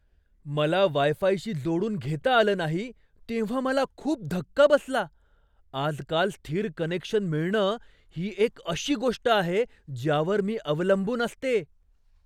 मला वाय फायशी जोडून घेता आलं नाही तेव्हा मला खूप धक्का बसला. आजकाल, स्थिर कनेक्शन मिळणं ही एक अशी गोष्ट आहे ज्यावर मी अवलंबून असते.